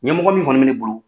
Ɲɛmɔgɔ min kɔni bɛ bolo.